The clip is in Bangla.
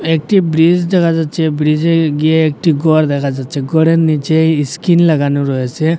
একটি ব্রিজ দেখা যাচ্ছে ব্রিজে গিয়ে একটি ঘর দেখা যাচ্ছে ঘরের নীচে ইস্কিন লাগানো রয়েছে।